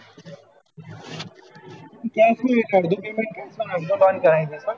cash એમ નહિ એટલે અડધું payment cash માં અને અડધું loan થશે